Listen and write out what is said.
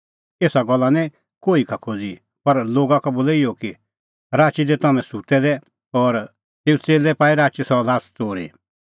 एसा गल्ला निं कोही का खोज़ी पर लोगा का बोलै इहअ कि राची तै हाम्हैं सुत्तै दै और तेऊए च़ेल्लै पाई राची सह ल्हास च़ोरी